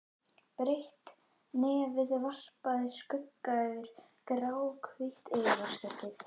Breitt nefið varpaði skugga yfir gráhvítt yfirvaraskeggið.